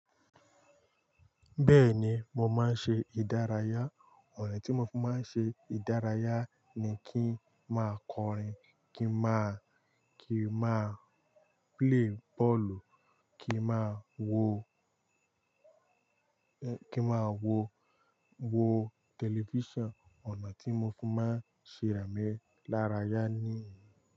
Bẹ́ẹ̀ni, mo máa ń ṣe ìdárayá. Ọ̀nà tí mo fi máa ń ṣe ìdárayá ni kí ń máa kọrin, kí ń máa kí ń máa play bọ́ọ̀lù, kí ń máa wo, kí ń máa wo, wo tẹlifíṣàn. Ọ̀nà tí mo fi máa ń ṣe ìrami lárayá nìyẹn.